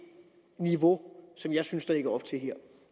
niveau som jeg synes der lægges op til her